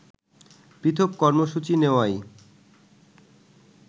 পৃথক কর্মসূচি নেওয়ায়